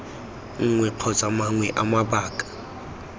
nngwe kgotsa mangwe a mabaka